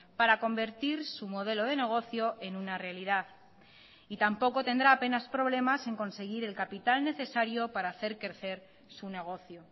para convertir su modelo de negocio en una realidad y tampoco tendrá apenas problemas en conseguir el capital necesario para hacer crecer su negocio